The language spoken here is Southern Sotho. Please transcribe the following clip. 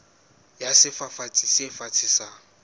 ya sefafatsi se fatshe sa